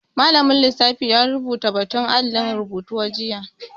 Malamin lissafi ya rubuta batu a alin rubutu jiya